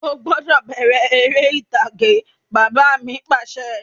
O gbọ́dọ̀ bẹ̀rẹ̀ ère ìtàgé! Bàbá mi Pàṣẹ.